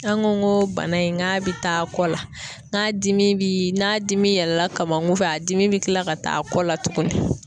An ko n go bana in , nga bi taa kɔ la n'a dimi bi n'a dimi yɛlɛla kamun fɛ a dimi be kila ka taa a kɔ la tuguni.